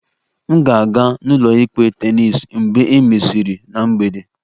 M ga-aga n'ụlọikpe tennis mgbe e mesịrị na mgbede